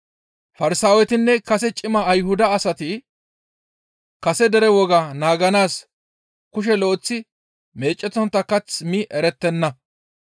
Farsaawetinne kase cima Ayhuda asati kase dere woga naaganaas kushe lo7eththi meecettontta kath mi erettenna.